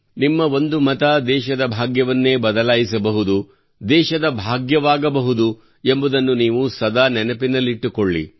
ನಿಮ್ಮ ಒಂದು ಮತ ದೇಶದ ಭಾಗ್ಯವನ್ನೇ ಬದಲಾಯಿಸಬಹುದು ದೇಶದ ಭಾಗ್ಯವಾಗಬಹುದು ಎಂಬುದನ್ನು ನೀವು ಸದಾ ನೆನಪಿನಲ್ಲಿಟ್ಟುಕೊಳ್ಳಿ